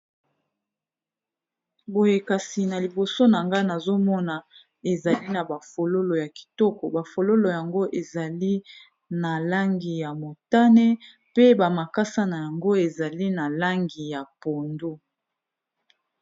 boyekasi na liboso na nga nazomona ezali na bafololo ya kitoko bafololo yango ezali na langi ya motane pe bamakasa na yango ezali na langi ya pondo